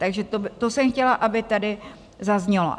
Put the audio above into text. Takže to jsem chtěla, aby tady zaznělo.